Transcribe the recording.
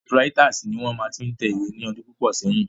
Typewriters ni wón máa fi ń tẹ ìwé ní ọdún púpọ̀ sẹ́yìn.